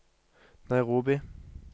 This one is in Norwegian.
Nairobi